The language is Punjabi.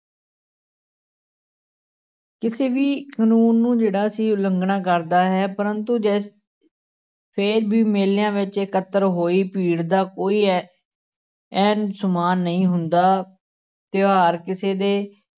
ਕਿਸੇ ਵੀ ਕਾਨੂੰਨ ਨੂੰ ਜਿਹੜਾ ਉਲੰਘਣਾ ਕਰਦਾ ਹੈ, ਪ੍ਰੰਤੂ ਜੇ ਫਿਰ ਵੀ ਮੇਲਿਆਂ ਵਿੱਚ ਇਕੱਤਰ ਹੋਈ ਭੀੜ ਦਾ ਕੋਈ ਐ ਐਨ ਸਮਾਨ ਨਹੀਂ ਹੁੰਦਾ, ਤਿਉਹਾਰ ਕਿਸੇ ਦੇ